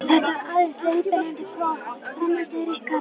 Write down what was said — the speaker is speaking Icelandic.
Þetta er aðeins leiðbeinandi próf, framhaldið er ykkar.